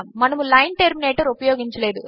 మనములైన్టర్మినేటర్ఉపయోగించలేదు